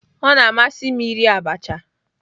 Ọ na-amasị m iri abacha